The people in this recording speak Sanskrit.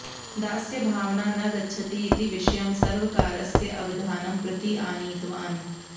दास्यभावना न गच्छति इति विषयं सर्वकारस्य अवधानं प्रति आनीतवान्